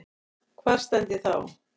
Hvar stend ég þá?